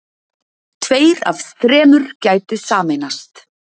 Tveir af þremur gætu sameinast